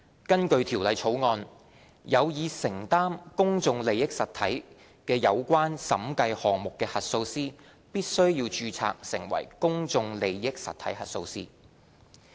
根據《條例草案》，有意承擔公眾利益實體的有關審計項目的核數師必須註冊成為公眾利益實體核數師。